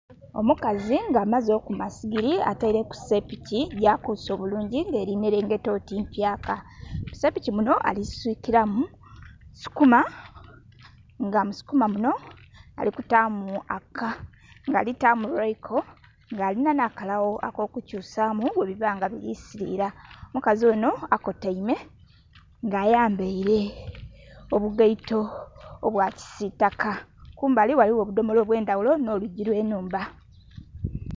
Omukazi nga amaze okuma sigeri atereku sepiki yakuse obulungi erinherengeta oti mpyaka, musepiki muno alisikiramu sukuma nga musukuma muno alikutamu lwaiko nga alina n'akalgho akokukyusamu bwebiba nga birisirira. Omukazi ono akotaime nga ayambaire obugaito obwakisitaka kumbali ghaligho obudhomolo obwendhaghulo n'olwiigi olwenhumba.